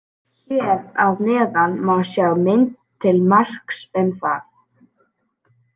Hér að neðan má sjá mynd til marks um það.